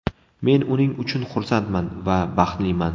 Men uning uchun xursandman va baxtliman.